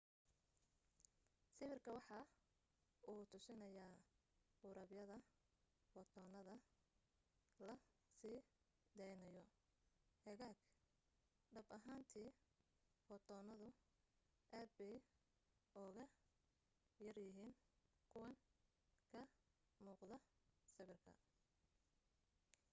sawirka waxa uu tusinayaa qurubyada footoonada la sii daynayo hagaag dhab ahaantii footoonadu aad bay uga yaryihiin kuwan ka muuqda sawirka